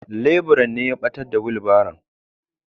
Leburan ne ya ɓatar da wilbaron.